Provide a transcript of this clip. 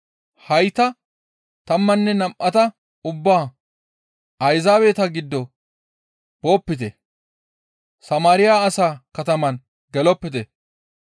Hayta tammanne nam7ata ubbaa, «Ayzaabeta giddo boopite; Samaariya asaa katama gelopite.